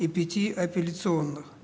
и пяти апелляционных